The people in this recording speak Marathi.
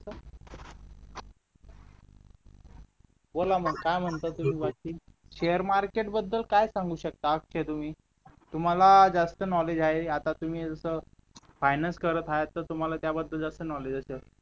बोला मग काय म्हणताय तुम्ही बाकी शेअर मार्केट बद्दल काय सांगू शकता औषधे तुम्हाला जास्त नॉलेज आहे आता तुम्ही जसं फायनान्स करत आहात तर त्याबद्दल तुम्हाला जास्त नॉलेज असेल